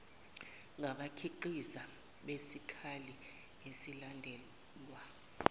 ngabakhiqizi besikhali iyalandelwa